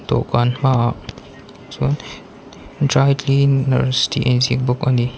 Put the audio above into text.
dawhkan hmaah chuan dry cleaners tih a inziak bawk a ni.